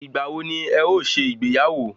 Ìgbà wo ni ẹ o ṣe ìgbéyàwó?